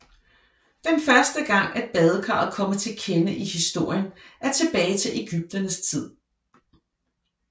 Den første gang at badekaret kommer til kende i historien er tilbage til egypternes tid